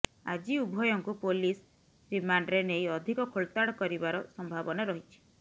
ଆଜି ଉଭୟଙ୍କୁ ପୋଲିସ ରିମାଣ୍ଡରେ ନେଇ ଅଧିକ ଖୋଳତାଡ କରିବାର ସମ୍ଭାବନା ରହିଛି